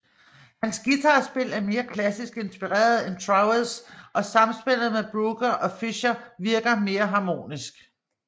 Hans guitarspil er mere klassisk inspireret end Trowers og samspillet med Brooker og Fischer virker mere harmonisk